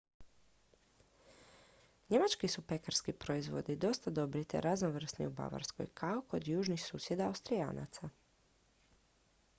njemački su pekarski proizvodi dosta dobri te raznovrsni u bavarskoj kao kod južnih susjeda austrijanaca